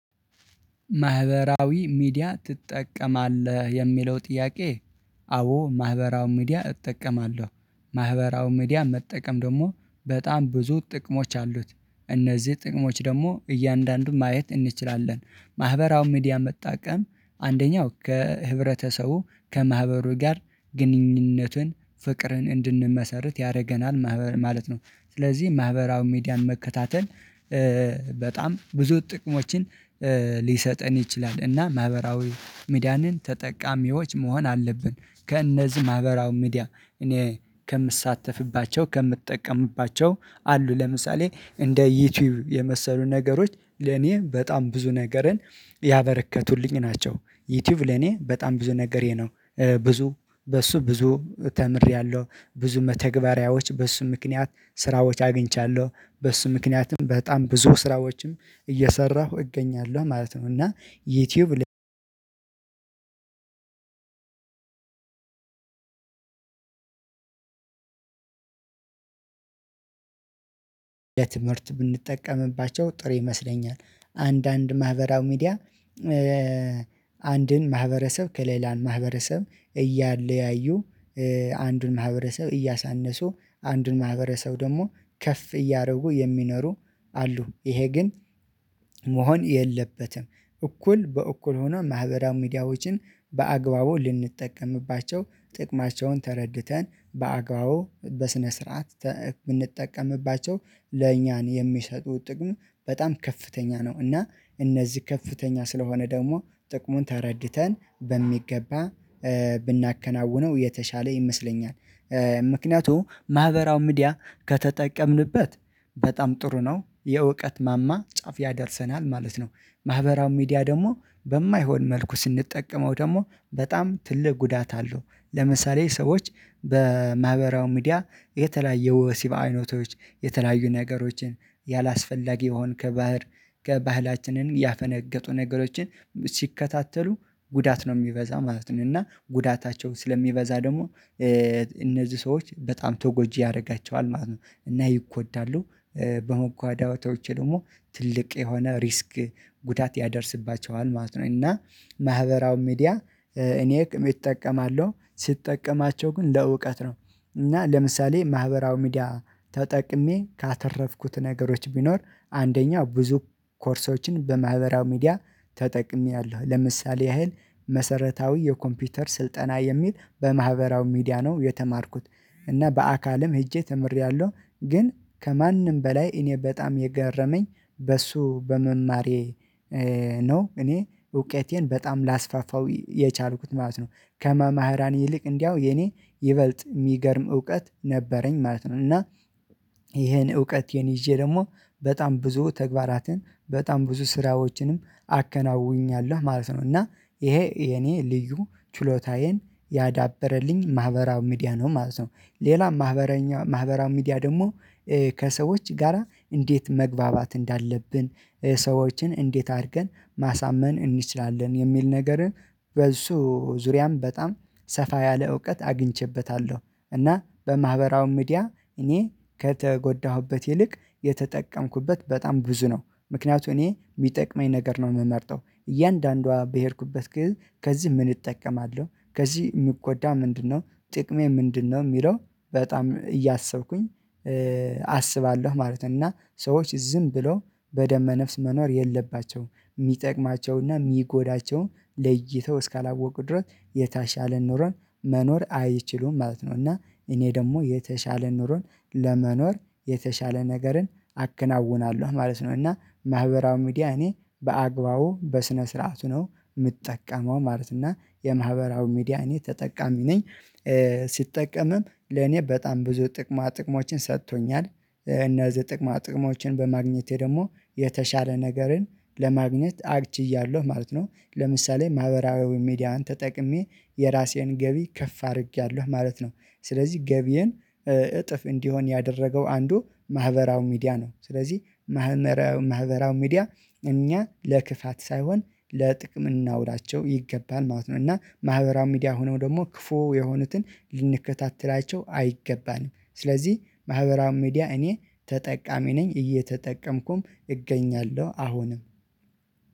ማህበራዊ ሚዲያ ትጠቀማለህ? የሚለው ጥያቄ አዎ ማህበራዊ ሚዲያ እጠቀማለሁ። ማህበራዊ ሚዲያ መጠቀም ደግሞ በጣም ብዙ ጥቅሞች አሉት። እነዚህ ጥቅሞች ደግሞ እያንዳንዱን ማየት እንችላለን። ማህበራዊ ሚዲያ መጠቀም አንደኛው ከህብረተሰቡ ከማህበሩ ጋር ግንኙነቱን ፍቅርን እንድንመሰርት ያደርገናል ማህበር ማለት ነው። ስለዚህ ማህበራዊ ሚዲያን መከታተል በጣም ብዙ ጥቅሞችን ሊሰጠን ይችላል። እና ማህበራዊ ሚዲያንን ተጠቃሚዎች መሆን አለብን። ከእነዚህ ማህበራዊ ሚዲያ እኔ ከምሳተፍባቸው ከምጠቀምባቸው አሉ። ለምሳሌ እንደ ዩቲዩብ የመሰሉ ነገሮች ለኔ በጣም ብዙ ነገርን ያበረከቱልኝ ናቸው። ዩቲዩብ ለኔ በጣም ብዙ ነገሬ ነው ብዙ በሱ ብዙ ተምሬያለሁ። ብዙ መተግበሪያዎች በሱ ምክንያት ስራዎች አግኝቻለሁ። በሱ ምክንያትም በጣም ብዙ ስራዎችም እየሰራሁ እገኛለሁ ማለት ነው። እና ዩቲዩብ የትምህርት ብንጠቀምባቸው ጥሩ ይመስለኛል። አንዳንድ ማህበራዊ ሚዲያ አንድን ማህበረሰብ ከሌላን ማህበረሰብ እያለያዩ አንዱን ማህበረሰብ እያሳነሱ አንዱን ማህበረሰብ ደግሞ ከፍ እያደረጉ የሚኖሩ አሉ። ይሄ ግን መሆን የለበትም። እኩል በእኩል ሆኖ ማህበራዊ ሚዲያዎችን በአግባቡ ልንጠቀምባቸው ጥቅማቸውን ተረድተን በአግባው በስነ ስርዓት ብንጠቀምባቸው ለእኛ የሚሰጡት ጥቅሙ በጣም ከፍተኛ ነው። እና እነዚህ ከፍተኛ ስለሆነ ደግሞ ጥቅሙን ተረድተን በሚገባ ብናከናውነው የተሻለ ይመስለኛል። ምክንያቱም ማህበራዊ ሚዲያ ከተጠቀምንበት በጣም ጥሩ ነው። የእውቀት ማማ ጫፍ ያደርሰናል ማለት ነው። ማህበራዊ ሚዲያ ደግሞ በማይሆን መልኩ ስንጠቀመው ደግሞ በጣም ትልቅ ጉዳት አለው። ለምሳሌ ሰዎች በማህበራዊ ሚዲያ የተለያየ ወሲብ አይነቶች የተለያዩ ነገሮችን ያላስፈላጊ የሆን ከባህር ከባህላችንን ያፈነገጡ ነገሮችን ሲከታተሉ ጉዳት ነው የሚበዛ ማለት ነው። እና ጉዳታቸው ስለሚበዛ ደግሞ እነዚህ ሰዎች በጣም ተጎጂ ያደርጋቸዋል ማለት ነው። እና ይጎዳሉ በመጎዳታቸው ደግሞ ትልቅ የሆነ ሪስክ ጉዳት ያደርስባቸዋል ማለት ነው። እና ማህበራዊ ሚዲያ እኔ እጠቀማለው፤ ስጠቀማቸው ግን ለእውቀት ነው። እና ለምሳሌ ማህበራዊ ሚዲያ ተጠቅሜ ካተረፍኩት ነገሮች ቢኖር አንደኛው ብዙ ኮርሶችን በማህበራዊ ሚዲያ ተጠቅሜያለሁ። ለምሳሌ ያህል መሰረታዊ የኮምፒውተር ስልጠና የሚል በማህበራዊ ሚዲያ ነው የተማርኩት እና በአካልም ሄጄ ተምሬያለሁ። ግን ከማንም በላይ እኔ በጣም የገረመኝ በሱ በመማሬ ነው እኔ እውቀቴን በጣም ላስፋፋው የቻልኩት ማለት ነው። ከመምህራን ይልቅ እንዲያው የኔ ይበልጥ የሚገርም እውቀት ነበረኝ ማለት ነው። እና ይሄን እውቀቴን ይዤ ደግሞ በጣም ብዙ ተግባራትን በጣም ብዙ ስራዎችንም አከናውኛለሁ ማለት ነው። እና ይሄ የኔ ልዩ ችሎታዬን ያዳበረልኝ ማህበራዊ ሚዲያ ነው ማለት ነው። ሌላ ማህበራዊ ሚዲያ ደግሞ ከሰዎች ጋራ እንዴት መግባባት እንዳለብን ሰዎችን እንዴት አድርገን ማሳመን እንችላለን የሚል ነገርን በሱ ዙሪያም በጣም ሰፋ ያለ እውቀት አግኝቼበታለሁ። እና በማህበራው ሚዲያ እኔ ከተጎዳሁበት ይልቅ የተጠቀምኩበት በጣም ብዙ ነው። ምክንያቱም እኔ የሚጠቅመኝ ነገር ነው የምመርጠው። እያንዳንዷ በሄድኩበት ከዚህ ምን እጠቀማለሁ፣ ከዚህ ምጎዳው ምንድነው፣ ጥቅሜ ምንድነው የሚለው በጣም እያሰብኩኝ አስባለሁ ማለት ነው። እና ሰዎች ዝም ብሎ በደመ ነፍስ መኖር የለባቸውም። የሚጠቅማቸውና የሚጎዳቸውን ለይተው እስካላወቁ ድረስ የታሻለ ኑሮን መኖር አይችሉም ማለት ነው። እና እኔ ደግሞ የተሻለ ኑሮን ለመኖር የተሻለ ነገርን አከናውናለሁ ማለት ነው። እና ማህበራዊ ሚዲያ እኔ በአግባቡ በስነ ስርዓቱ ነው የምጠቀመው ማለት ነው። እና የማህበራዊ ሚዲያ እኔ ተጠቃሚ ነኝ። ስጠቀምም ለኔ በጣም ብዙ ጥቅማ ጥቅሞችን ሰጥቶኛል። እነዚህ ጥቅማ ጥቅሞችን በማግኘቴ ደግሞ የተሻለ ነገርን ለማግኘት ችያለሁ ማለት ነው። ለምሳሌ ማህበራዊ ሚዲያን ተጠቅሜ የራሴን ገቢ ከፍ አድርጌያለሁ ማለት ነው። ስለዚህ ገቢየን እጥፍ እንዲሆን ያደረገው አንዱ ማህበራዊ ሚዲያ ነው። ስለዚህ ማህበራዊ ሚዲያ እኛ ለክፋት ሳይሆን ለጥቅም ልናውላቸው ይገባል ማለት ነው። እና ማህበራዊ ሚዲያ ሆኖ ደግሞ ክፉ የሆኑትን ልንከታተላቸው አይገባንም። ስለዚህ ማህበራዊ ሚዲያ እኔ ተጠቃሚ ነኝ። እየተጠቀምኩም እገኛለሁ አሁንም